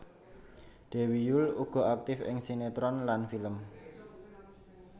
Dewi Yull uga aktif ing sinetron lan film